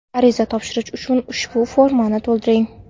Ariza topshirish uchun ushbu formani to‘ldiring.